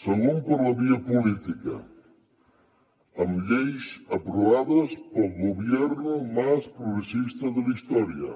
segon per la via política amb lleis aprovades pel gobierno más progresista de la historia